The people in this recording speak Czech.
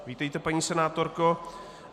Vítejte, paní senátorko.